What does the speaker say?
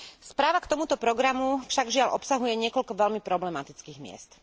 Správa k tomuto programu však, žiaľ, obsahuje niekoľko veľmi problematických miest.